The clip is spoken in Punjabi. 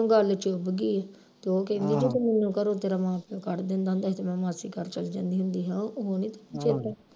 ਉਹਨੂੰ ਚੁੱਭ ਗਈ ਤੇ ਉਹ ਕਹਿੰਦੀ ਕਿ ਮੈਨੂੰ ਘਰੋਂ ਤੇਰਾ ਮਾਸੜ ਕੱਢ ਦਿੰਦਾ ਹੁੰਦਾ ਹੀ ਤੇ ਮੈਂ ਮਾਸੀ ਘਰ ਚੱਲ ਜਾਂਦੀ ਹੁੰਦੀ ਹਾਂ ਉਹ ਨਹੀਂ ਤੈਂਨੂੰ ਚੇਤਾ